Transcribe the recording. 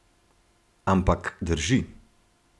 Ampak, drži.